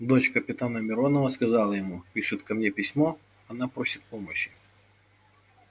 дочь капитана миронова сказал я ему пишет ко мне письмо она просит помощи